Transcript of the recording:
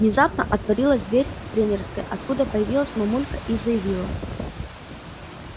внезапно отворилась дверь тренерской откуда появилась мамулька и заявила